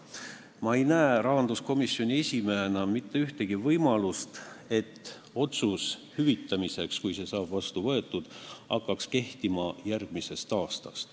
Ma ei näe rahanduskomisjoni esimehena mitte ühtegi võimalust, et kui otsus hüvitada saab vastu võetud, siis see hakkaks kehtima järgmisel aastal.